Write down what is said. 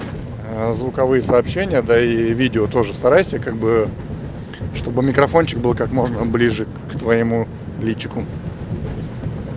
звуковые сообщения да и видео тоже старайся как бы чтобы микрофончик был как можно ближе к твоему личику